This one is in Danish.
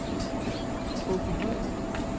Åbyhøj